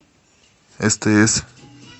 стс